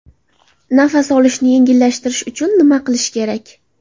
Nafas olishni yengillashtirish uchun nima qilish kerak?